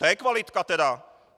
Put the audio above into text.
To je kvalitka teda!